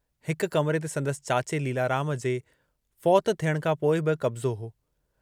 हिक कमरे ते संदसि चाचे लीलाराम जे फौतु थियण खां पोइ बि कब्जो हो।